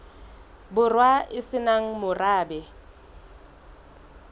borwa e se nang morabe